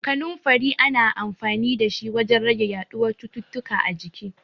Kaninfari ana amfanin da shi wajen rage yaɗuwan cututtuka a jiki.